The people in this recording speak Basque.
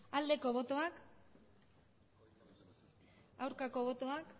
aldeko botoak aurkako botoak